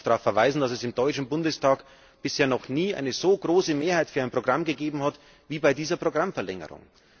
Ich darf darauf verweisen, dass es im Deutschen Bundestag bisher noch nie eine so große Mehrheit für ein Programm gegeben hat wie bei dieser Programmverlängerung.